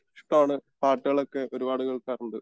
ഇഷ്ടാണ് പാട്ടുകൾ ഒക്കെ ഒരുപാട് കേൾക്കാറുണ്ട്